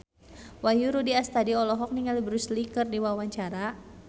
Wahyu Rudi Astadi olohok ningali Bruce Lee keur diwawancara